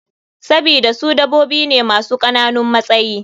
Sabida su dabobi ne masu kananun matsayi.